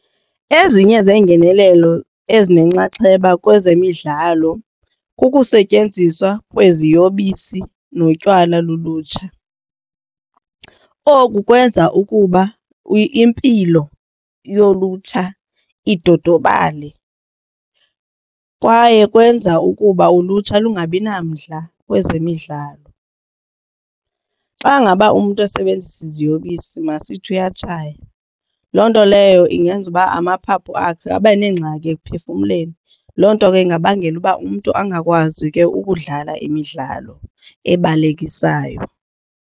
Ezinye zeengenelelo ezinenxaxheba kwezemidlalo kukusetyenziswa kweziyobisi notywala lulutsha. Oku kwenza ukuba impilo yolutsha idodobale kwaye kwenza ukuba ulutsha lungabi namdla kwezemidlalo. Xa ngaba umntu esebenzisa iziyobisi masithi uyatshaya loo nto leyo ingenza uba amaphaphu akhe abe neengxaki ekuphefumleni. Loo nto ke ingabangela uba umntu angakwazi ke ukudlala imidlalo ebalekisayo.